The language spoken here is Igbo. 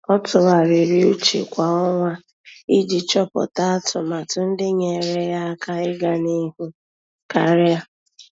Ọ́ tụ́gharị́rị́ úchè kwa ọnwa iji chọ́pụ́tá atụmatụ ndị nyéeré yá áká iganịhụ karịa.